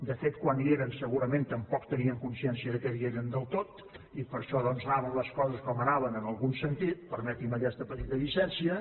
de fet quan hi eren segurament tampoc tenien consciència que hi eren del tot i per això doncs anaven les coses com anaven en algun sentit permeti’m aquesta petita llicència